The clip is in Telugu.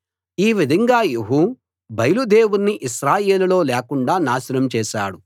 ఈ విధంగా యెహూ బయలు దేవుణ్ణి ఇశ్రాయేలులో లేకుండా నాశనం చేశాడు